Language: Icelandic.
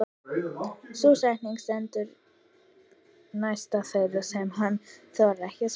Sú setning stendur næst þeirri sem hann þorir ekki að spyrja.